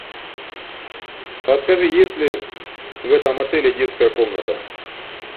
подскажи есть ли в этом отеле детская комната